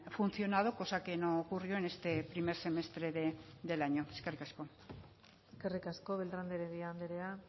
funcionado cosa que no ocurrió en este primer semestre de del año eskerrik asko eskerrik asko beltran de heredia andrea